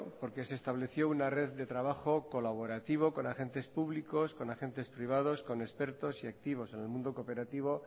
porque se estableció una red de trabajo colaborativo con agentes públicos con agentes privados con expertos y activos en el mundo cooperativo